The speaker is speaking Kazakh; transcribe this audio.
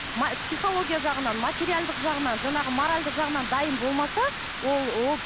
психология жағынан материалдық жағынан жаңағы моральдық жағынан дайын болмаса ол ол